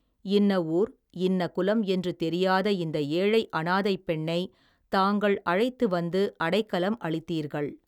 இன்ன ஊர், இன்ன குலம் என்று தெரியாத இந்த ஏழை அநாதைப் பெண்ணைத் தாங்கள், அழைத்து வந்து, அடைக்கலம் அளித்தீர்கள்.